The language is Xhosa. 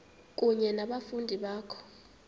kunye nabafundi bakho